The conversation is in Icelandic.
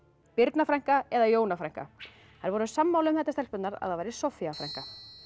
Birna frænka eða Jóna frænka þær voru sammála um þetta stelpurnar að það væri Soffía frænka